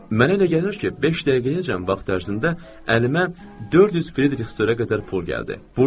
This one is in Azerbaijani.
Mənə elə gəlir ki, beş dəqiqəyəcən vaxt ərzində əlimə 400 Frederiksterə qədər pul gəldi.